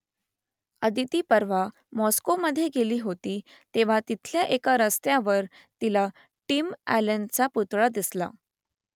अदिती परवा मॉस्कोमधे गेली होती तेव्हा तिथल्या एका रस्त्यावर तिला टिम अ‍ॅलनचा पुतळा दिसला